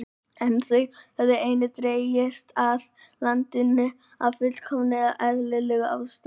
En þau höfðu einnig dregist að landinu af fullkomlega eðlilegum ástæðum.